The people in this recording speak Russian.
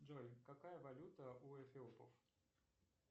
джой какая валюта у эфиопов